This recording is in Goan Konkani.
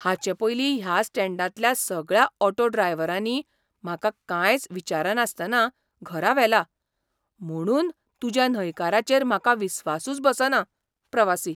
हाचे पयलीं ह्या स्टँडांतल्या सगळ्या ऑटो ड्रायव्हरांनी म्हाका कांयच विचारनासतना घरा व्हेला, म्हुणून तुज्या न्हयकाराचेर म्हाका विस्वासूच बसना. प्रवासी